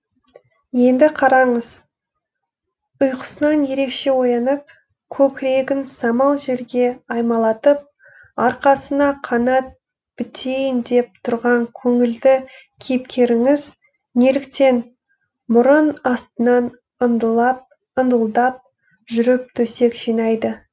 енді қараңыз ұйқысынан ерекше оянып көкірегін самал желге аймалатып арқасына қанат бітейін деп тұрған көңілді кейіпкеріңіз неліктен мұрын астынан ыңылдап жүріп төсек жинайды